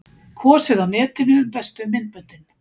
Kosið á netinu um bestu myndböndin